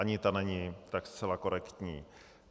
Ani ta není tak zcela korektní.